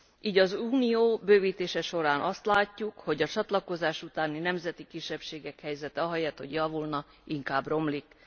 Így az Unió bővítése során azt látjuk, hogy a csatlakozás után a nemzeti kisebbségek helyzete ahelyett hogy javulna, inkább romlik.